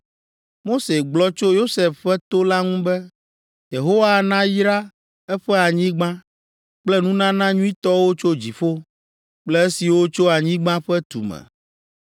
Mose gblɔ tso Yosef ƒe to la ŋu be, “Yehowa nayra eƒe anyigba kple nunana nyuitɔwo tso dziƒo kple esiwo tso anyigba ƒe tume.